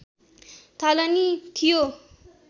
थालनी थियो